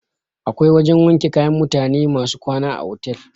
Akwai wajan wanke kaya na mutane masu kwana a otal.